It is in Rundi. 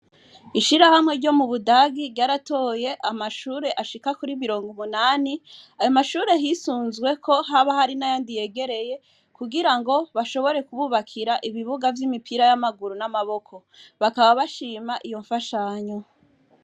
Ishirahamwe ryo mu budagi ryaratoye amashure ashika kuri birongo umunani, amashure hisunzweko haba hari na yandi yegereye kugira ngo bashobore kububakira ibibuga vy'imipira y'amaguru n'amaboko, bakaba bashima iyo mfashanyo.